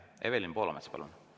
Evelin Poolamets, palun!